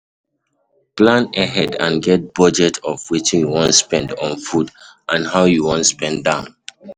Plan ahead and get budget of wetin you wan spend on food and how you wan spend am